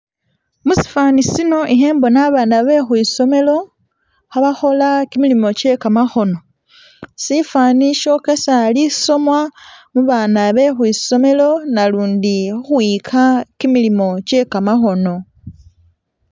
musifaani sino ihe mbona abana behwisomelo, habahola kimilimo kye kamahono, sifaani syokesa lisomwa mubaana behwisomelo, nalundi huhwiyika kimilimo kye kamahono